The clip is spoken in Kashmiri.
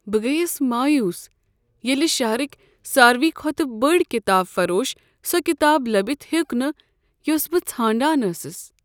بہٕ گٔیس مایوس ییٚلہ شہرٕکۍ ساروٕے کھۄتہٕ بوڑ کتاب فروشس سۄ کتاب لٔبِتھ ہیوک نہٕ یۄس بہٕ ژھانٛڈان ٲسٕس۔